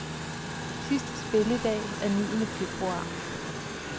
Sidste spilledag er niende februar.